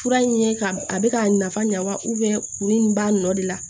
Fura in ye ka a bɛ k'a nafa ɲama kuru in b'a nɔ de la